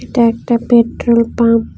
এটা একটা petrol pump.